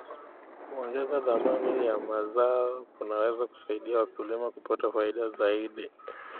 Kuongeza thamani ya mazao kunaweza kusaidia wakulima kupata faida zaidi.